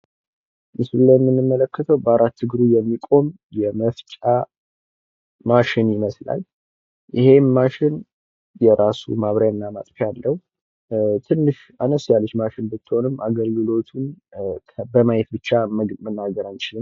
ምስሉ የሚያሳየው በአራት እግሩ የሚቆም የመፍጫ ማሽን ሲሆን ይሄውም የራሱ የሆነ ማብሪያና ማጥፊያ ሲኖረው በጣም ጠቃሚም ነው።